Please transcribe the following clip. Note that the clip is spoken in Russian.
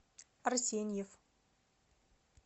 арсеньев